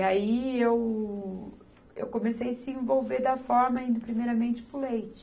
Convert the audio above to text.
Aí eu, eu comecei a se envolver da forma indo primeiramente para o leite.